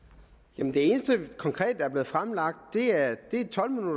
jamen det er